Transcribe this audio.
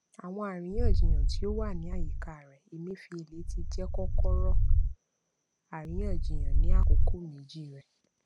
àwọn àríyànjiyàn tí ó wà ní àyíká rẹ emefiele ti jẹ kókóọrọ àríyànjiyàn ní àkókò méjì rẹ